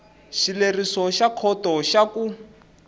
xileriso xa khoto xa ku